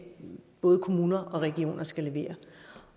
både kommuner og regioner skal levere